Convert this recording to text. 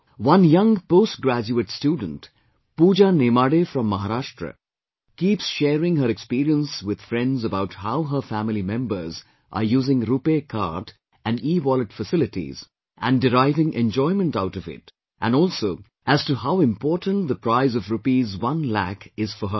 One young postgraduate student Pooja Nemade from Maharashtra keeps sharing her experience with friends about how her family members are using RuPay Card and ewallet facilities and deriving enjoyment out of it and also as to how important the prize of rupees one lakh is for her